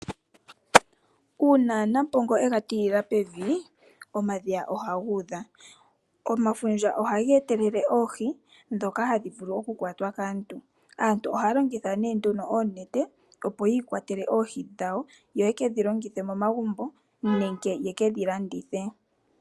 Una nampongo ega tiilila pevi omadhiya ohagudha, omafundja ohaga etelele oohi dhoka hadhi vulu okukwatwa kaantu ,aantu ohaya longitha nduno oonete opo yiikwatele oohi dhawo ,yo yekedhi longithe momagumbo nenge yekedhi landithe.